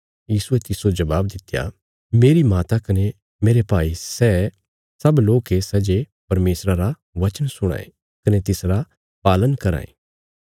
यीशुये तिस्सो जबाब दित्या मेरी माता कने मेरे भाई सै सब लोक ये सै जे परमेशरा रा बचन सुणां ये कने तिसरा पालन कराँ ये